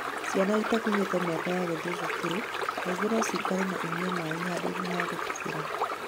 Ciana itakinyĩtie miaka ya gũthie cukuru kaingĩ no cirikire na inyue maĩ handũinĩ ha gũtubĩra.